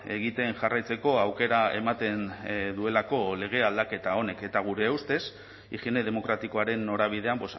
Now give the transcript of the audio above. egiten jarraitzeko aukera ematen duelako lege aldaketa honek eta gure ustez higiene demokratikoaren norabidean